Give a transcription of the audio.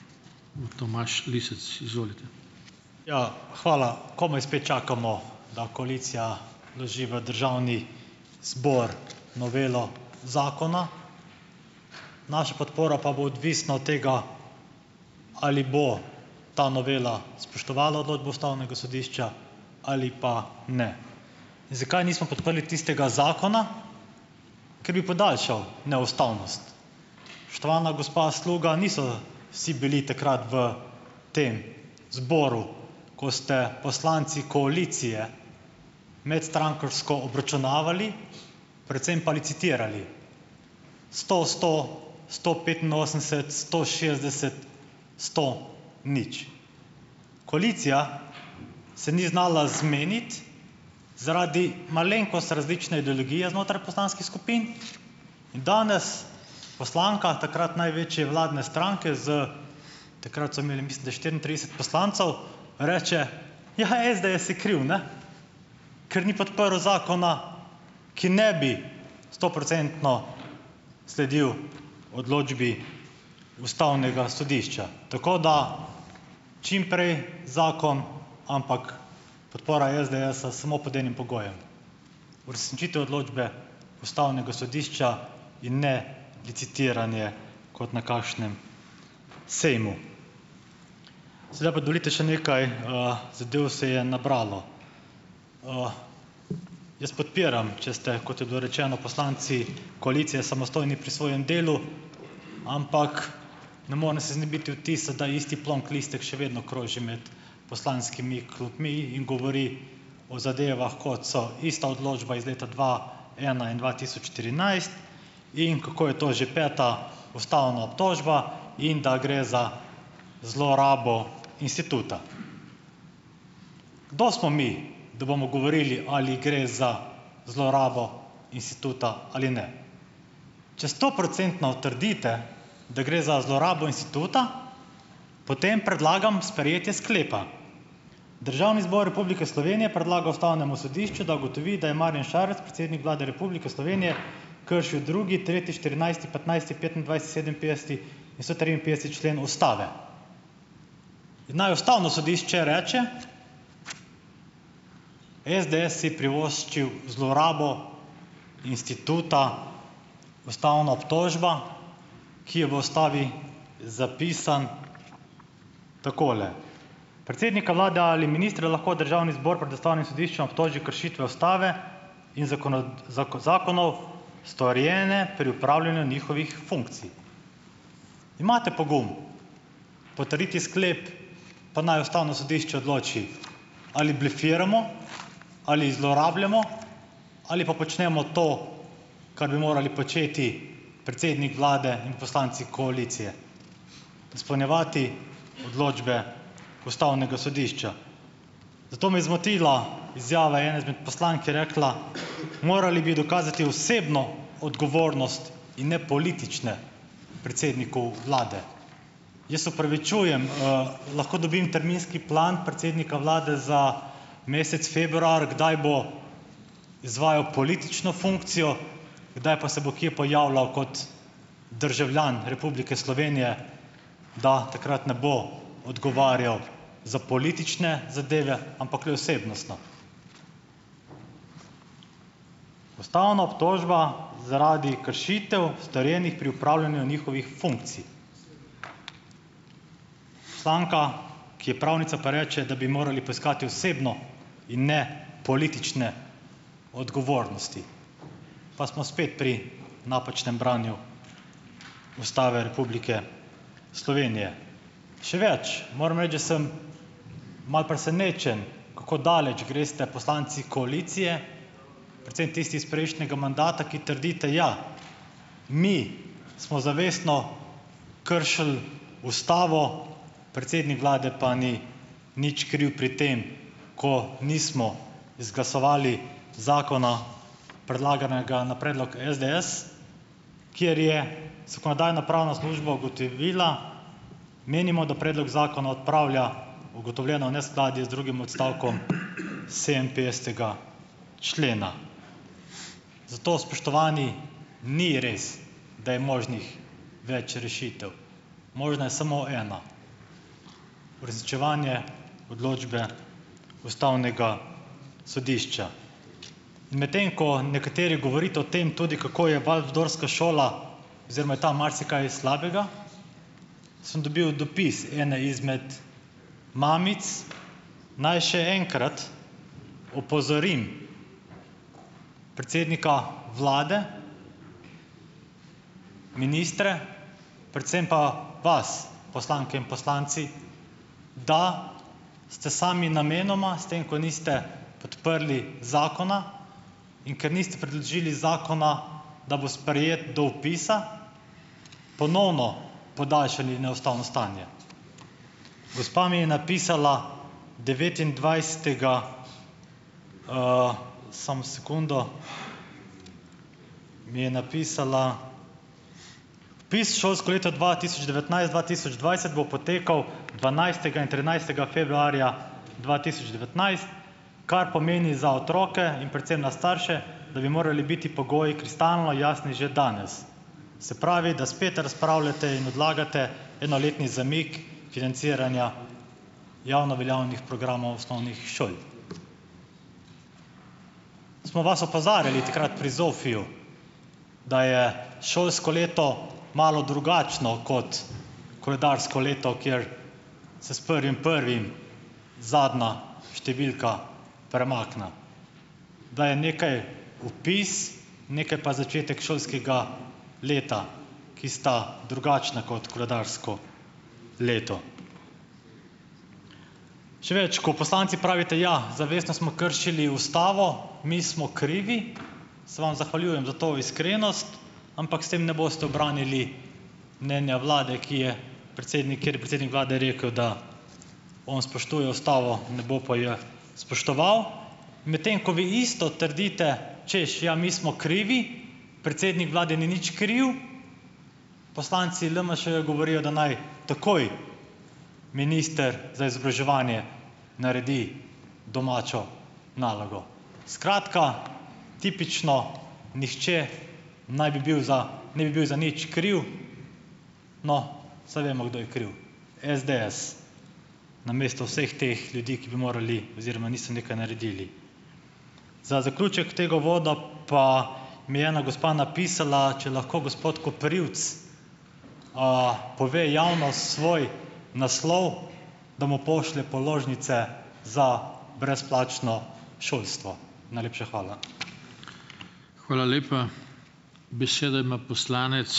Ja, hvala. Komaj spet čakamo, da koalicija vloži v državni zbor novelo zakona, naša podpora pa bo odvisna od tega, ali bo ta novela spoštovala odločbo ustavnega sodišča ali pa ne. In zakaj nismo podprli tistega zakona - ker bi podaljšal neustavnost. Spoštovana gospa Sluga, niso vsi bili takrat v tem zboru, ko ste poslanci koalicije medstrankarsko obračunavali, predvsem pa licitirali, sto-sto, sto petinosemdeset-sto šestdeset, sto-nič. Koalicija se ni znala zmeniti zaradi malenkost različne ideologije znotraj poslanskih skupin. In danes poslanka takrat največje vladne stranke z - takrat so imeli mislim, da štiriintrideset poslancev - reče, ja, SDS je kriv, ne, ker ni podprl zakona, ki ne bi stoprocentno sledil odločbi ustavnega sodišča. Tako da čim prej zakon, ampak podpora SDS-a samo pod enim pogojem - uresničitev odločbe ustavnega sodišča in ne licitiranje kot na kakšnem sejmu. Seveda pa dovolite, še nekaj, zadev se je nabralo. Jaz podpiram, če ste, kot je bilo rečeno, poslanci koalicije samostojni pri svojem delu, ampak ne morem se znebiti vtisa, da isti plonk listek še vedno kroži med poslanskimi klopmi in govori o zadevah, kot so ista odločba iz leta dva ena in dva tisoč trinajst, in kako je to že peta ustavna obtožba in da gre za zlorabo instituta. Kdo smo mi, da bomo govorili, ali gre za zlorabo instituta ali ne? Če stoprocentno trdite, da gre za zlorabo instituta, potem predlagam sprejetje sklepa: Državni zbor Republike Slovenije predlaga ustavnemu sodišču, da ugotovi, da je Marjan Šarec, predsednik Vlade Republike Slovenije, kršil drugi, tretji, štirinajsti, petnajsti, petindvajseti, sedeminpetdeseti in sto triinpetdeseti člen ustave. In naj ustavno sodišče reče: ""SDS si privoščil zlorabo instituta ustavna obtožba, ki je v ustavi zapisan takole: "Predsednika vlade ali ministra lahko državni zbor pred ustavnim sodiščem obtoži kršitve ustave in zakonov storjene pri opravljanju njihovih funkcij."" Imate pogum potrditi sklep, pa naj ustavno sodišče odloči, ali blefiramo ali zlorabljamo ali pa počnemo to, kar bi morali početi predsednik vlade in poslanci koalicije? Izpolnjevati odločbe ustavnega sodišča. Zato me je zmotila izjava ene izmed poslank, ki je rekla: "Morali bi dokazati osebno odgovornost in ne politične predsedniku vlade." Jaz se opravičujem, lahko dobim terminski plan predsednika vlade za mesec februar, kdaj bo izvajal politično funkcijo, kdaj pa se bo kje pojavljal kot državljan Republike Slovenije, da takrat ne bo odgovarjal za politične zadeve, ampak le osebnostno. Ustavna obtožba zaradi kršitev, storjenih pri opravljanju njihovih funkcij. Poslanka, ki je pravnica, pa reče, da bi morali poiskati osebno in ne politične odgovornosti. Pa smo spet pri napačnem branju Ustave Republike Slovenije. Še več, moram reči, da sem malo presenečen, kako daleč greste poslanci koalicije, predvsem tisti iz prejšnjega mandata, ki trdite: "Ja, mi smo zavestno kršili ustavo, predsednik vlade pa ni nič kriv pri tem, ko nismo izglasovali zakona, predlaganega na predlog SDS, kjer je zakonodajno-pravna služba ugotovila: "Menimo, da predlog zakona odpravlja ugotovljeno neskladje z drugim odstavkom sedeminpetdesetega člena." Zato, spoštovani, ni res, da je možnih več rešitev. Možna je samo ena, uresničevanje odločbe ustavnega sodišča. In medtem ko nekateri govorite o tem tudi, kako je walfdorska šola oziroma je tam marsikaj slabega, sem dobil dopis ene izmed mamic, naj še enkrat opozorim predsednika vlade, ministre, predvsem pa vas, poslanke in poslanci, da ste sami namenoma s tem, ko niste podprli zakona, in ker niste predložili zakona, da bo sprejet do vpisa, ponovno podaljšali neustavno stanje. Gospa mi je napisala, devetindvajsetega, samo sekundo mi je napisala: "Vpis v šolsko leto dva tisoč devetnajst-dva tisoč dvajset bo potekal dvanajstega in trinajstega februarja dva tisoč devetnajst, kar pomeni za otroke in predvsem na starše, da bi morali biti pogoji kristalno jasni že danes. Se pravi, da spet razpravljate in odlagate enoletni zamik financiranja javno veljavnih programov osnovnih šol. Smo vas opozarjali takrat pri ZOFI-ju, da je šolsko leto malo drugačno kot koledarsko leto, kjer se s prvim prvim zadnja številka premakne, da je nekaj opis, nekaj pa začetek šolskega leta, ki sta drugačna kot koledarsko leto. Še več, ko poslanci pravite: "Ja, zavestno smo kršili ustavo, mi smo krivi." Se vam zahvaljujem za to iskrenost, ampak se tem ne boste ubranili mnenja vlade, ki je predsednik, kjer je predsednik vlade rekel, da on spoštuje ustavo, ne bo pa je spoštoval. Medtem ko vi isto trdite, češ: "Ja, mi smo krivi, predsednik vlade ni nič kriv, poslanci LMŠ govorijo, da naj takoj minister za izobraževanje naredi domačo nalogo. Skratka, tipično, nihče naj bi bil za, ne bi bil za nič kriv. No Saj vemo, kdo je kriv: SDS. Namesto vseh teh ljudi, ki bi morali oziroma niso nekaj naredili. Za zaključek tega uvoda pa mi je ena gospa napisala, če lahko gospod Koprivc, pove javno svoj naslov, da mu pošlje položnice za brezplačno šolstvo. Najlepša hvala.